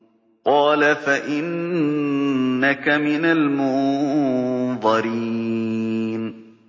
قَالَ فَإِنَّكَ مِنَ الْمُنظَرِينَ